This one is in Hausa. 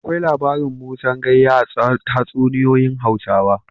Akwai labarin Musan Gayya a tatsuniyoyin Hausawa.